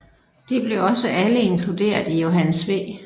De blev også alle inkluderet i Johannes V